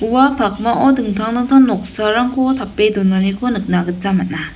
ua pakmao dingtang dingtang noksarangko tape donaniko nikna gita man·a.